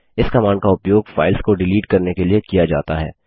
इस कमांड का उपयोग फाइल्स को डिलीट करने के लिए किया जाता है